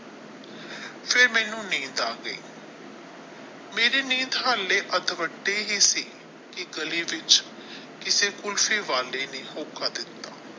ਫਿਰ ਮੈਨੂੰ ਨੀਂਦ ਆ ਗਈ ਮੇਰੀ ਨੀਂਦ ਹਾਲੇ ਸੀ ਕੀ ਗਲੀ ਵਿੱਚ ਕਿਸੇ ਕੁਲਫੀ ਨੇ ਹੋਕਾ ਦਿੱਤਾ।